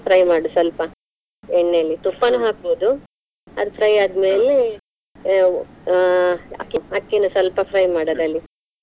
fry ಮಾಡು ಸ್ವಲ್ಪ ಎಣ್ಣೆಯಲ್ಲಿ ತುಪ್ಪಾನು ಹಾಕ್ಬೋದು, ಅದು fry ಆದ್ಮೇಲೆ ಅಹ್ ಅಹ್ ಅಕ್ಕಿ ಅಕ್ಕಿನು ಸ್ವಲ್ಪ fry ಮಾಡು ಅದ್ರಲ್ಲಿ.